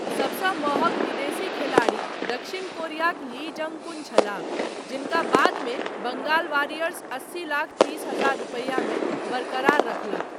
सबसँ महँग विदेशी खेलाड़ी दक्षिण कोरियाक ली जँग कुन छलाह, जिनका बादमे बंगाल वारियर्स अस्सी लाख तीस हजार रुपैयामे बरकरार रखलक।